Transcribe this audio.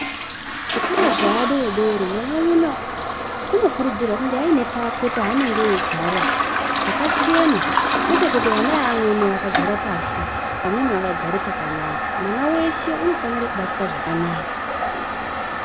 Zvikoro zveadodori mwana umwe naumwe unokurudzirwa kuti ange aine pakwe paanenge eigara pakachena kwete kuti ana eamweni akagara pashi, vamweni vakagara pakanaka. Mwana weshe unofanira kubatwa zvakanaka.